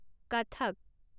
Kathak